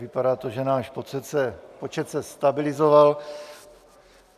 Vypadá to, že náš počet se stabilizoval.